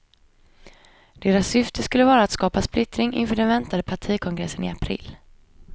Deras syfte skulle vara att skapa splittring inför den väntande partikongressen i april.